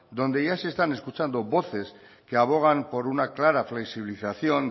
donde ya se están escuchando voces que abogan por una clara flexibilización